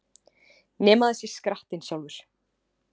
Nema það sé skrattinn sjálfur!